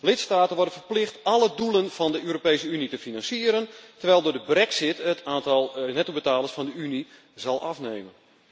Lidstaten worden verplicht alle doelen van de Europese Unie te financieren, terwijl door de Brexit het aantal nettobetalers van de Unie zal afnemen.